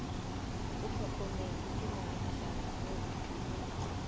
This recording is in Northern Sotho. hlokometšwe ke moagišani yo le